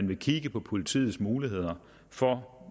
ville kigge på politiets muligheder for